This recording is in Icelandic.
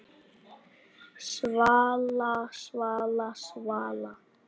Svala, Svala, Svala!